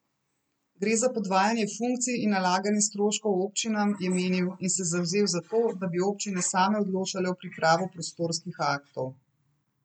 Gre za podvajanje funkcij in nalaganje stroškov občinam, je menil in se zavzel za to, da bi občine same odločale o pripravi prostorskih aktov.